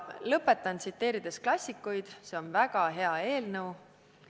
Lõpetan, tsiteerides klassikuid: see on väga hea eelnõu.